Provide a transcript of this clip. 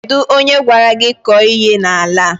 Kedụ onye gwara gị kọọ ihe n'ala a?